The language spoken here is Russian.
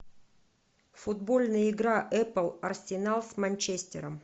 футбольная игра апл арсенал с манчестером